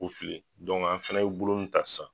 u fili an fana buru ta sa.